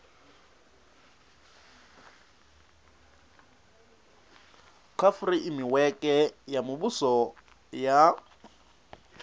kha fureimiweke ya muvhuso ya